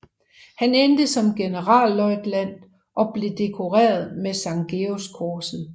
Han endte som generalløjtnant og blev dekoreret med Sankt Georgskorset